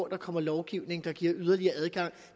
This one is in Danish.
der kommer lovgivning der giver yderligere adgang